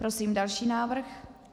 Prosím další návrh.